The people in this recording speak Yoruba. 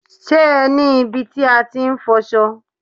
Ṣé ẹ ní ibi tí a ti ń fọṣọ?